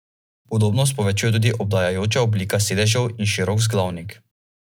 Elektronski denar ima psihološko nižjo vrednost od pravega denarja.